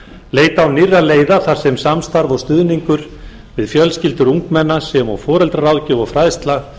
leita á nýrra leiða þar sem samstarf og stuðningur við fjölskyldur ungmenna sem og foreldraráðgjöf og fræðsla